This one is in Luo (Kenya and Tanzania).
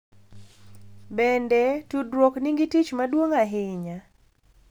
Bende, tudruok nigi tich maduong’ ahinya .